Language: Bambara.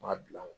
N b'a bila n kun